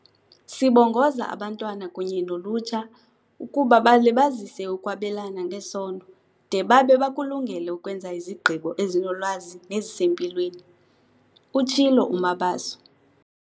"Sibongoza abantwana kunye nolutsha ukuba balibazise ukwabelana ngesondo de babe bakulungele ukwenza izigqibo ezinolwazi nezisempilweni," utshilo uMabaso.